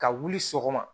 Ka wuli sɔgɔma